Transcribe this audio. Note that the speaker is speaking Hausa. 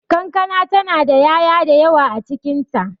Kankana ta na da ya'ya da yawa a cikin ta.